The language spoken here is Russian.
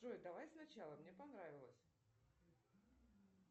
джой давай сначала мне понравилось